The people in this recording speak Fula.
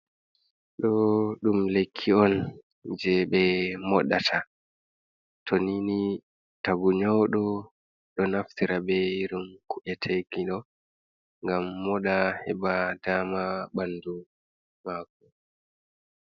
Ɗo ɗum lekki on je ɓe moɗata to nini tagu nyawɗo ɗo naftira ɓe irin ku’e tekiɗo gam moɗa heɓa dama ɓandu mako.